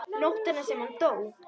Nóttina sem hann dó?